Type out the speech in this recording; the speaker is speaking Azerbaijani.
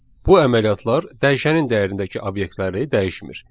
Bu əməliyyatlar dəyişənin dəyərindəki obyektləri dəyişmir.